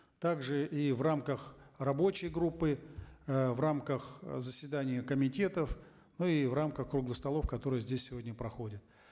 также и в рамках рабочей группы э в рамках э заседания комитетов ну и в рамках круглых столов которые здесь сегодня проходят